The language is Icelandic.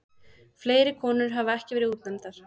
Fleiri konur hafa ekki verið útnefndar.